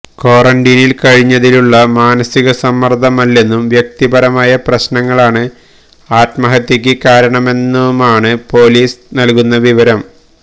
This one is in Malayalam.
ക്വാറന്റീനിൽ കഴിഞ്ഞതിലുള്ള മാനസികസമ്മർദമല്ലെന്നും വ്യക്തിപരമായ പ്രശ്നങ്ങളാണ് ആത്മഹത്യയ്ക്ക് കാരണമെന്നുമാണ് പൊലീസ് നൽകുന്ന വിവരം